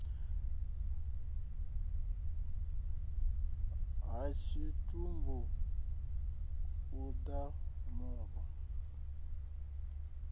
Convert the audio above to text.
ha tshitumbu u ḓa muno